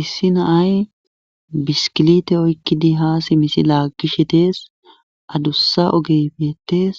Issi naay biskilite oykkidi haa simisi laaggishe dees adussa ogeybeetees